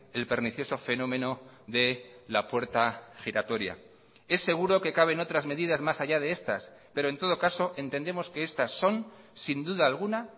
el pernicioso fenómeno de la puerta giratoria es seguro que caben otras medidas más allá de estas pero en todo caso entendemos que estas son sin duda alguna